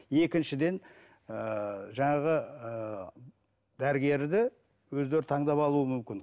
екіншіден ііі жаңағы ыыы дәрігерді өздері таңдап алуы мүмкін